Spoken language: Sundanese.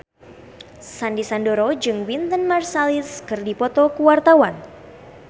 Sandy Sandoro jeung Wynton Marsalis keur dipoto ku wartawan